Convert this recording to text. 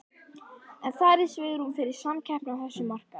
En er svigrúm fyrir samkeppni á þessum markaði?